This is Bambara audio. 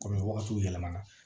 Kɔni wagatiw yɛlɛmana